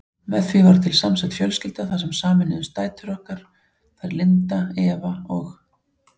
Með því varð til samsett fjölskylda þar sem sameinuðust dætur okkar, þær Linda, Eva og